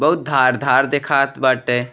बहुत धार धार देखात बाटे।